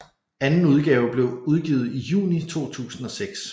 Anden udgave blev udgivet i juni 2006